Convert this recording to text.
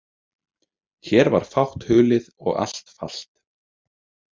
Hér var fátt hulið og allt falt.